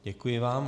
Děkuji vám.